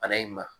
Bana in ma